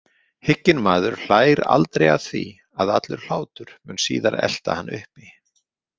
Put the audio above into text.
Hygginn maður hlær aldrei því að allur hlátur mun síðar elta hann uppi.